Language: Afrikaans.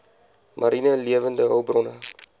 mariene lewende hulpbronne